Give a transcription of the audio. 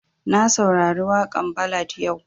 Na saurari waƙan ballad yau